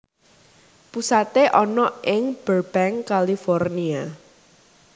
Pusaté ana ing Burbank California